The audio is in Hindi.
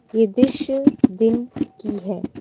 ये दृश्य दिन की है।